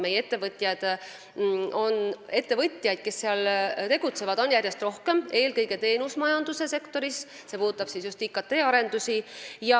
Meie ettevõtjaid, kes seal tegutsevad, on järjest rohkem, eelkõige teenusmajanduse sektoris, ja see puudutab just IKT arendusi.